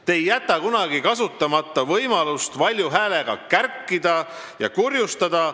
Te ei jäta kunagi kasutama võimalust valju häälega kärkida ja kurjustada.